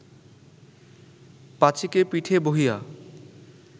পাঁচীকে পিঠে বহিয়া